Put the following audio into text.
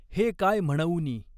हे काय म्हणउनि।